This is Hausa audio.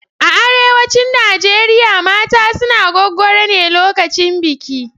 A arewacin Najeriya mata suna gwaggwaro ne lokacin biki.